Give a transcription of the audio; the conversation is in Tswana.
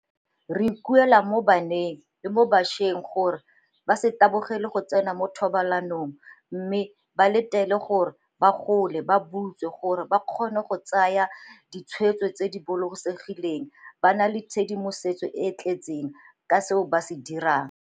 "Re ikuela mo baneng le mo bašweng gore ba se tabogele go tsena mo thobalanong mme ba letele gore ba gole ba butswe gore ba kgone go tsaya di tshweetso tse di bolokesegileng ba na le tshedimosetso e e tletseng ka seo ba se dirang,"